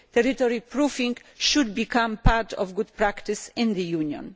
Territory proofing should become part of good practice in the Union.